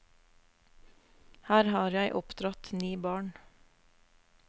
Her har jeg oppdratt ni barn.